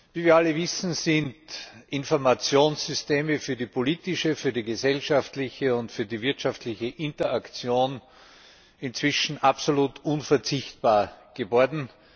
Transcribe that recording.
Wie wir alle wissen, sind Informationssysteme für die politische, für die gesellschaftliche und für die wirtschaftliche Interaktion inzwischen absolut unverzichtbar geworden.